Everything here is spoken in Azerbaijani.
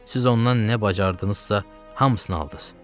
Siz ondan nə bacardınızsa, hamısını aldız.